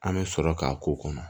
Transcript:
An bɛ sɔrɔ k'a k'o kɔnɔ